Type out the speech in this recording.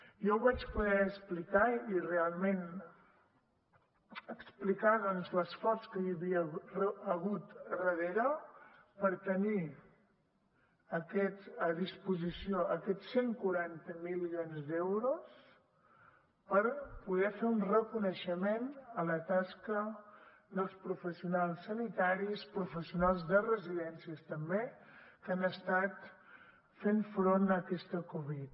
jo ho vaig poder explicar i realment explicar l’esforç que hi havia hagut darrere per tenir a disposició aquests cent i quaranta milions d’euros per poder fer un reconeixement a la tasca dels professionals sanitaris professionals de residències també que han estat fent front a aquesta covid